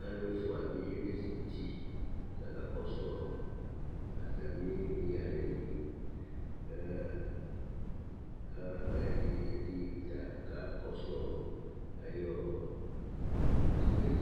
Alu ɛfʋa bi ezikʋti kʋ akakɔsu atami yalɛ Ɛdí ta kakɔsu ayʋ aɣla yɛ li